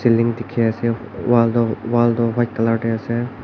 balloon dekhe ase whal toi white colour da ase.